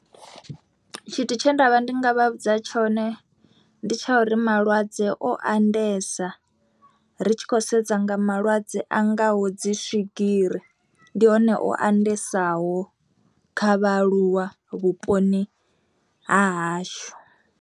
Tshithu tshe ndavha ndi nga vha vhudza tshone ndi tsha uri malwadze o andesa ri tshi khou sedza nga malwadze a ngaho dzi swigiri ndi hone o andesaho kha vhaaluwa vhuponi ha hashu.